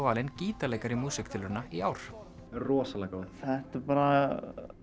valinn gítarleikari músíktilrauna í ár rosalega gaman þetta er bara